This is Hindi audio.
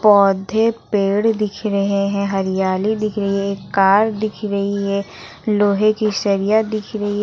पौधे पेड़ दिख रहे हैं हरियाली दिख रही है कार दिख रही है लोहे की सरिया दिख रही है।